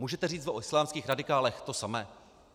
Můžete říct o islámských radikálech to samé?